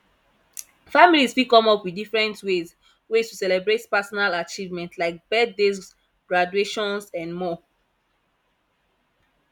families fit come up with different ways ways to celebrate personal achievement like birthdays graduations and more